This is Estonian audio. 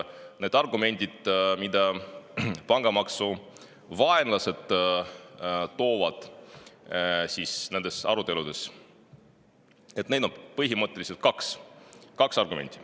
Neid argumente, mida pangamaksu vaenlased nendes aruteludes esitavad, on põhimõtteliselt kaks.